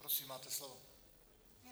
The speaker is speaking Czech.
Prosím, máte slovo.